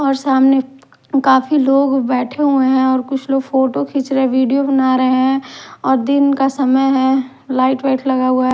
और सामने काफी लोग बैठे हुए हैं और कुछ लोग फोटो खींच रहे वीडियो बना रहे हैं और दिन का समय है लाइट व्हाइट लगा हुआ है।